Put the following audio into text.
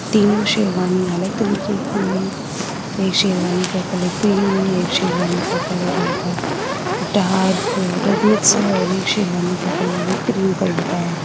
तीन शेरवानी अलग तरीके की हैं। एक शेरवानी का कलर क्रीम है एक शेरवानी का कलर हल्का डार्क रेडनेस है और एक शेरवानी का कलर भी क्रीम कलर का है।